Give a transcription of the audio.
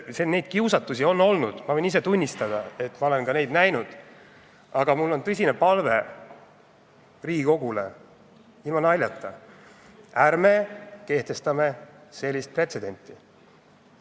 Neid kiusatusi on olnud, ma võin ise tunnistada, et ma olen ka neid näinud, aga mul on tõsine palve Riigikogule, ilma naljata, ärme laseme sellisel pretsedendil sündida!